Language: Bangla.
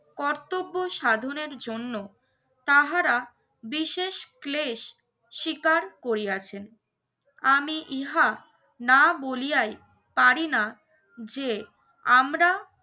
কর্তব্য সাধনের জন্য তাহারা বিশেষ ক্লেশ শিকার করিয়াছেন। আমি ইহা না বলিয়াই পারিনা যে আমরা